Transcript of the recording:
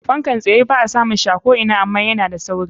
Fankan tsye ba a samun shi a ko ina ama yana da sauri.